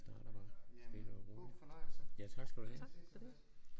Starter bare stille og roligt ja tak skal du have